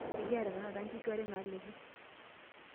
Ekiata tenakata nkishu are naalepo.